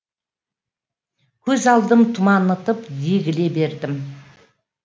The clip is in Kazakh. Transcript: көз алдым тұманытып егіле бердім